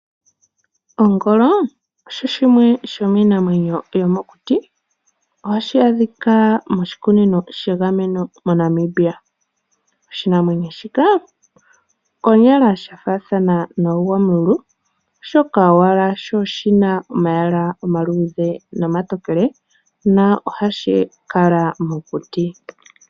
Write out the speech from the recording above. Ongolo osho shimwe shomiinamwenyo yomokuti. Ohashi adhika moshikunino shegameno moNamibia. Oshinamwenyo shika konyala shafaadhana nogwamululu oshoka owala shi oshina omayala omaluudhe nima tokele nahashi kala mokuti.